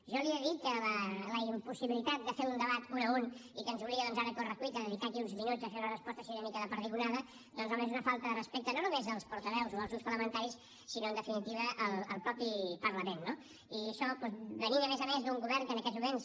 jo li he de dir que la impossibilitat de fer un debat un a un i que ens obliga doncs ara a corre cuita a dedicar aquí uns minuts a fer una resposta així una mica de perdigonada doncs home és una falta de respecte no només als portaveus o als grups parlamentaris sinó en definitiva al mateix parlament no i això doncs venint a més a més d’un govern que en aquests moments